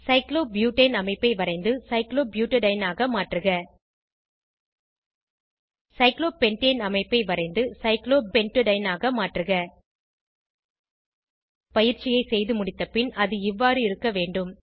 cyclobutane அமைப்பை வரைந்து cyclobutadiene ஆக மாற்றுக சைக்ளோபென்டேன் அமைப்பை வரைந்து சைக்ளோபென்ட்டடைன் ஆக மாற்றுக பயிற்சியை செய்து முடித்தபின் அது இவ்வாறு இருக்க வேண்டும்